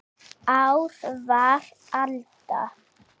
Ár var alda